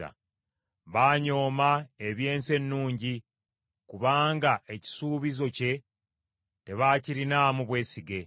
Baanyooma eby’ensi ennungi, kubanga ekisuubizo kye tebaakirinaamu bwesige.